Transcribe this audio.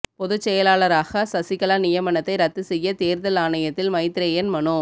பொதுச் செயலாளராக சசிகலா நியமனத்தை ரத்து செய்ய தேர்தல் ஆணையத்தில் மைத்ரேயன் மனு